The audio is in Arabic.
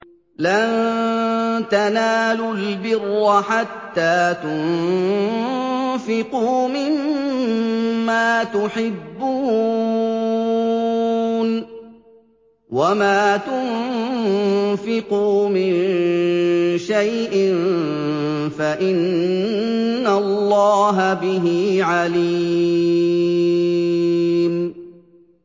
لَن تَنَالُوا الْبِرَّ حَتَّىٰ تُنفِقُوا مِمَّا تُحِبُّونَ ۚ وَمَا تُنفِقُوا مِن شَيْءٍ فَإِنَّ اللَّهَ بِهِ عَلِيمٌ